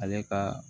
Ale ka